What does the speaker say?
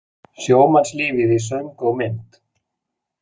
Sjómannslífið í söng og mynd